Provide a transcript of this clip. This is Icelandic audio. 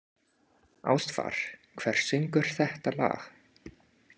Ástvar, hver syngur þetta lag?